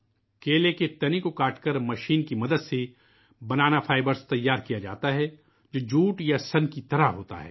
کیلے کے تنے کو کاٹ کر مشین کی مدد سے ' بنانا فائبر ' تیار کیا جاتا ہے ، جو جوٹ یا سن کی طرح ہوتا ہے